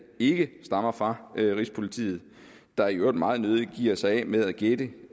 ikke stammer fra rigspolitiet der i øvrigt meget nødig giver sig af med at gætte